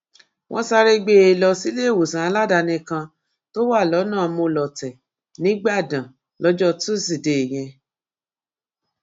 wọ́n sáré gbé e lọ síléèwòsàn aládàáni kan tó wà lọ́nà molọ̀tẹ̀ nígbàdàn lọjọ túsìdeè yẹn